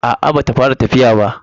A'a ba ta fara tafiya ba.